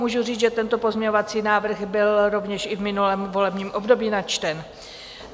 Můžu říct, že tento pozměňovací návrh byl rovněž i v minulém volebním období načten.